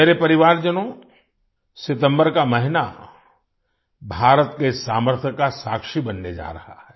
मेरे परिवारजनों सितम्बर का महीना भारत के सामर्थ्य का साक्षी बनने जा रहा है